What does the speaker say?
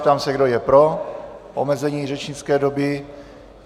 Ptám se, kdo je pro omezení řečnické doby?